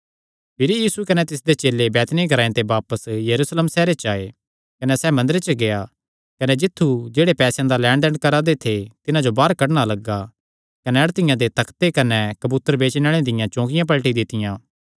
भिरी यीशु कने तिसदे चेले बैतनिय्याह ग्रांऐ ते यरूशलेम सैहरे च आये कने सैह़ मंदरे च गेआ कने तित्थु जेह्ड़े लैणदैण करा दे थे तिन्हां जो बाहर कड्डणा लग्गा अड़तिआं दे तख्ते कने कबूतर बेचणे आल़ेआं दियां चौकिआं पलटी दित्तियां